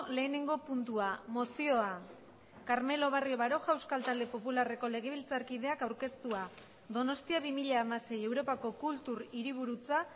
lehenengo puntua mozioa carmelo barrio baroja euskal talde popularreko legebiltzarkideak aurkeztua donostia bi mila hamasei europako kultur hiriburutza